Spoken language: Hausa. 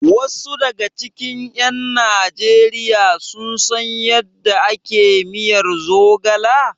Wasu daga cikin ƴan Najeriya sun san yadda ake miyar zogala?